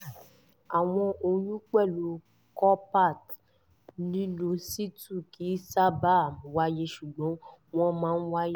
àwọn oyún pẹ̀lú copper-t nínú situ kì í sábà wáyé ṣùgbọ́n wọ́n máa ń wáyé